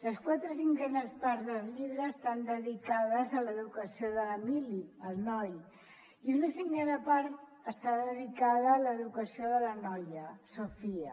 les quatre cinquenes parts del llibre estan dedicades a l’educació de l’emili el noi i una cinquena part està dedicada a l’educació de la noia sofia